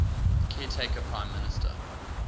caretaker prime minister